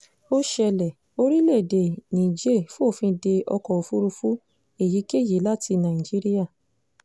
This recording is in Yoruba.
ó ṣẹlẹ̀ orílẹ̀‐èdè níjẹ̀ẹ́ fòfin dé ọkọ̀ òfurufú èyíkéyìí láti nàìjíríà